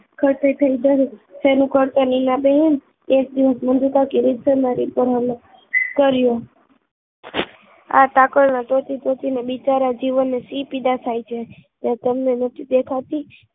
કોટી તેનું કરતા નીના બેન એક દિવસ મંજુ કાકી રીત સર રીપોર્ટ કર્યો આ તકલ ના તોચી તોચી ને બિચારા જીવન ને શું પીડા થાય છે એ તમને નહિ દેખાતી